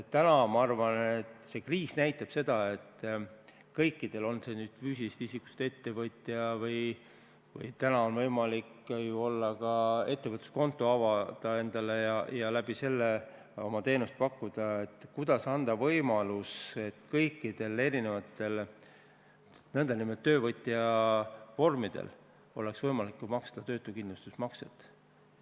Täna, ma arvan, näitab see kriis seda, et tuleks leida võimalus, kuidas kõikidel – olgu see füüsilisest isikust ettevõtja, samuti on täna võimalik avada ettevõtluskonto ja läbi selle oma teenust pakkuda – erisugustel nn töövõtja vormidel oleks võimalik maksta töötuskindlustusmakset.